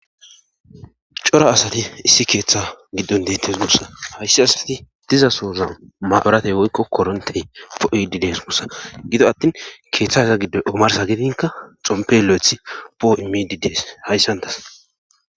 cora asati issi keeththa giddon deetes gusa hayssi asati diza sooza maburatey woykko korontey poo'idi dees gussa gido attin keeththaza giddoy omarsa gidinka xompe lo'eth poo imidi dees hayssantas